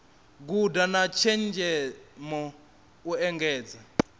guda na tshenzhemo u engedza